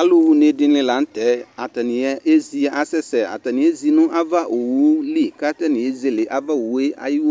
alu wuné dini latɛ atani ézi asɛsɛ atani ézi nu ava owu li ka atani ézélé ava owu ayu